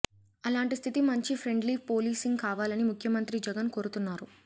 అలాంటి స్థితి నుంచి ఫ్రెండ్లీ పోలీసింగ్ కావాలని ముఖ్యమంత్రి జగన్ కోరుతున్నారు